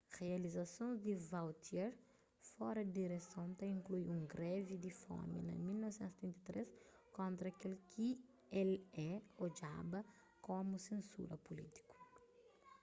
rializasons di vautier fora di direson ta inklui un grevi di fomi na 1973 kontra kel ki el é odjaba komu sensura pulítiku